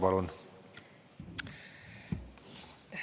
Palun!